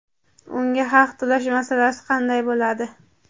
unga haq to‘lash masalasi qanday bo‘ladi?.